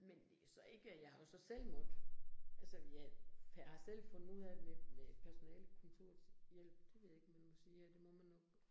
Men det jo så ikke jeg har jo så selv måtte, altså jeg har selv fundet ud af det med personalekontorets hjælp, det ved jeg ikke, om man må sige her, det må man nok